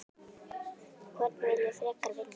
Hvorn vil ég frekar vinna?